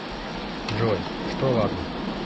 джой что ладно